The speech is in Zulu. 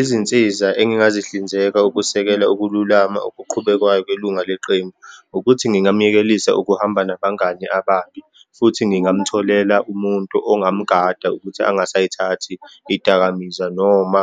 Izinsiza engingazihlinzeka ukusekela ukululama okuqhubekwayo kwelunga leqembu, ukuthi ngingamyekelisa ukuhamba nabangani ababi, futhi ngingamtholela umuntu ongamgada ukuthi angasayithathi iy'dakamizwa noma